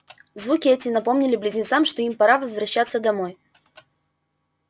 звуки эти напомнили близнецам что им пора возвращаться домой